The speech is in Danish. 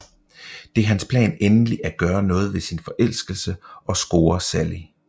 Det er hans plan endelig at gøre noget ved sin forelskelse og score Sally